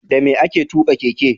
Dame ake tuka keke?